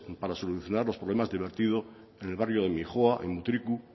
para solucionar los problemas de vertidos en el barrio de mijoa en mutriku